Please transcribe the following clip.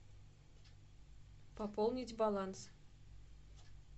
пополнить баланс